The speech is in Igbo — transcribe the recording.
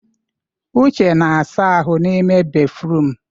Uche na-asa ahụ n'ime béfrụm.